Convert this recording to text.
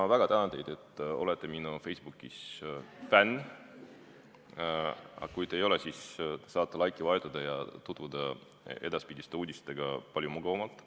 Ma väga tänan teid, et olete Facebookis minu fänn, aga kui te ei ole, siis saate laiki vajutada ja tutvuda edaspidiste uudistega palju mugavamalt.